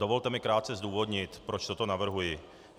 Dovolte mi krátce zdůvodnit, proč toto navrhuji.